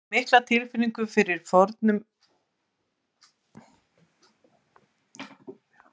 Hann hefur mikla tilfinningu fyrir formum og Gerður er ákaflega ánægð með myndirnar.